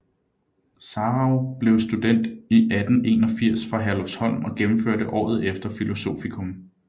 Sarauw blev student 1881 fra Herlufsholm og gennemførte året efter filosofikum